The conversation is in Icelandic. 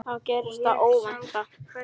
Þá gerðist það óvænta.